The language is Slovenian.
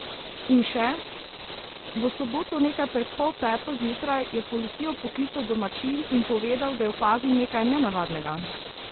In še: "V soboto nekaj pred pol peto zjutraj je policijo poklical domačin in povedal, da je opazil nekaj nenavadnega.